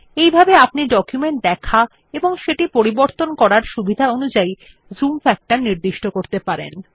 এইভাবে আপনি ডকুমেন্ট দেখা ও সেটি পরিবর্তন করার সুবিধা অনুযায় জুম ফ্যাক্টর নির্দিষ্ট করতে পারেন